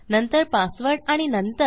नंतर पासवर्ड आणि नंतर